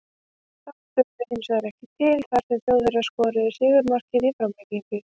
Það dugði hinsvegar ekki til þar sem Þjóðverjar skoruðu sigurmarkið í framlengingu.